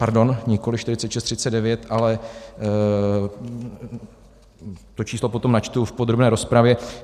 Pardon, nikoliv 4639, ale - to číslo potom načtu v podrobné rozpravě.